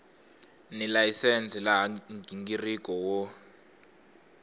ni layisense laha nghingiriko wo